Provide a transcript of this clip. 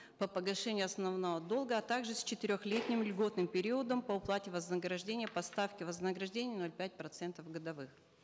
по погашению основного долга а также с четырехлетним льготным периодом по уплате вознаграждения по ставке вознаграждения ноль пять процентов годовых